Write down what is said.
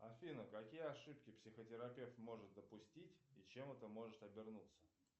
афина какие ошибки психотерапевт может допустить и чем это может обернуться